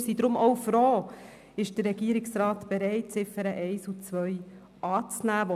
Deshalb sind wir auch froh, dass der Regierungsrat bereit ist, die Ziffern 1 und 2 anzunehmen.